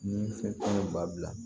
Ni fɛn ba bila